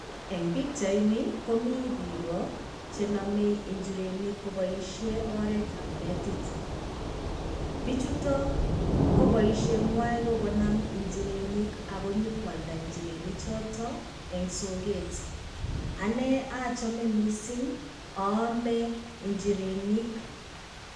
Eng' pichaini, komi biik chenome njirenik koboisien oretab netit. Bichuto, ko boisienywan ko konam njirenik akonyokwalda njirenik choto en sokeet. Ane ochome misiing oome njirenik.